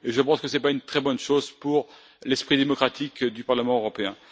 Je pense que ce n'est pas une très bonne chose pour l'esprit démocratique du Parlement européen.